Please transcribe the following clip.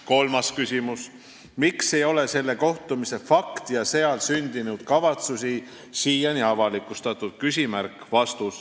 " Kolmas küsimus: "Miks ei ole selle kohtumise fakti ja seal sündinud kavatsusi siiani avalikustatud?